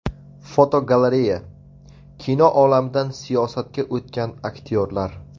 Fotogalereya: Kino olamidan siyosatga o‘tgan aktyorlar.